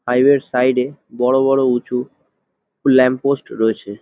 Highway র side এ বড় বড় উচু ল্যাম্পপোস্ট রয়েছে।